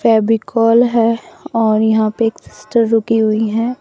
फेविकोल है और यहां पे एक सिस्टर रुकी हुई हैं।